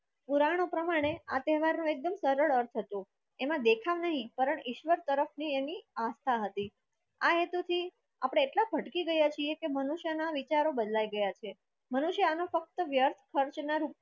પુરાણો પ્રમાણે આ તહેવાર એકદમ સરળ હતો એવો દેખાવ નહીં ઈશ્વર તરફની એની આસ્થા હતી આ હેતુ થી આપણે એટલા ભટકી ગયા છીએ કે મનુષ્ય ના વિચારો બદલાઈ ગયા છે મનુષ્ય અને ફક્ત વ્યર્થ ખર્ચના ના રૂપમાં